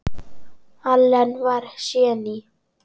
Allen var séní.